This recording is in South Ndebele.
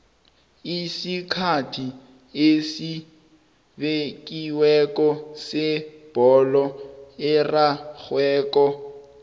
isikhathi esibekiweko sebholo erarhwako